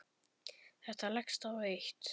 Þetta leggst á eitt.